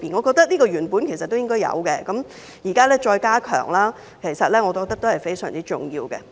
這些內容原本便應有，現在再加強，我認為是非常重要的。